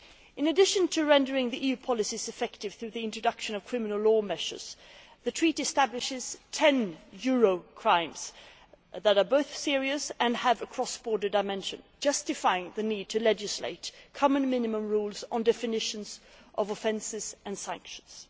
In addition to rendering EU policies effective through the introduction of criminal law measures, the Treaty establishes ten euro crimes' that are both serious and have a cross border dimension, justifying the need to legislate common minimum rules on definitions of offences and sanctions.